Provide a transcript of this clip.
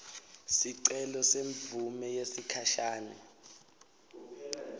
sicelo semvumo yesikhashane